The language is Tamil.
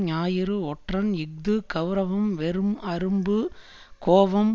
ஞாயிறு ஒற்றன் இஃது கெளரவம் வெறும் அரும்பு கோபம்